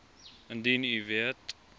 indien u weet